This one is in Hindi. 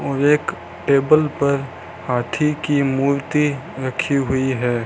और एक टेबल पर हाथी की मूर्ति रखी हुई है।